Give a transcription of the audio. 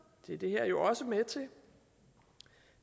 det er det her jo også med til